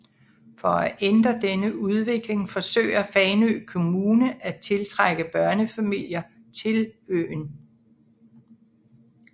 For at ændre denne udvikling forsøger Fanø Kommune at tiltrække børnefamilier til øen